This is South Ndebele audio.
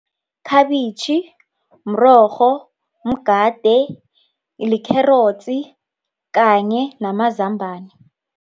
Khabitjhi, mrorho, mgade, likherotsi kanye namazambani.